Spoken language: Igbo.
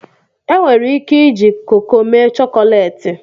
enwere ike iji koko mee chọkọleti